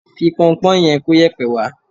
Fi pọnpọ́ yẹn kóyẹ̀pẹ̀ wá